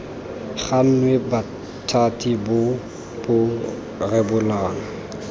gannwe bothati bo bo rebolang